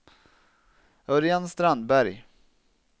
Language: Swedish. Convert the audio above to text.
Örjan Strandberg